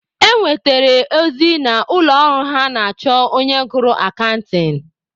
E nwetere ozi na ụlọ ọrụ ha na-achọ onye gụrụ akantịn.